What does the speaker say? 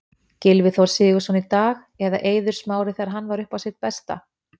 Gylfi Þór Sigurðsson í dag, eða Eiður Smári þegar hann var uppá sitt besta?